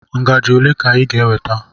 ngaji ole ka ị ga-eweta?